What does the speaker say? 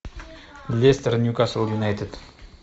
лестер ньюкасл юнайтед